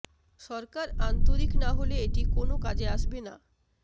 সরকার আন্তরিক না হলে এটি কোন কাজে আসবে না